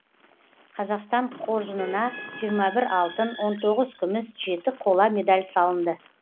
қазақстан қоржынына жиырма бір алтын он тоғыз күміс жеті қола медаль салынды